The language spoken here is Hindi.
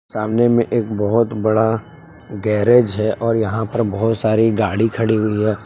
सामने मे एक बहुत बड़ा गैरेज है और यहां पर बहोत सारी गाड़ी खड़ी हुई हैं।